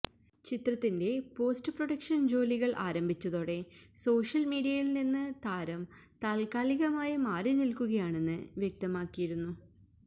ചിത്രത്തിന്റെ post production ജോലികൾ ആരംഭിച്ചതോടെ സോഷ്യൽ മീഡിയിൽ നിന്ന് താരം താത്കാലികമായി മാറിനിൽക്കുകയാണെന്ന് വ്യക്തമാക്കിയിരുന്നു